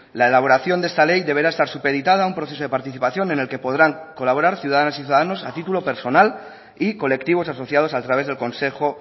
la elaboración de esta ley deberá estar supeditada a un proceso de participación en el que podrán colaborar ciudadanas y ciudadanos a título personal y colectivos asociados a través del consejo